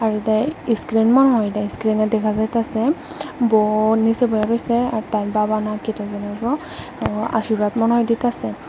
এদাই ইস্ক্রিম আর ইস্ক্রিমে দেখা যাইতাসে বউ নিসে বহে রইসে আর তার বাবা না কিতা সানিগো আশীর্বাদ মনে হয় দিতেসে।